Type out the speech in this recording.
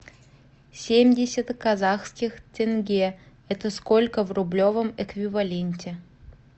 семьдесят казахских тенге это сколько в рублевом эквиваленте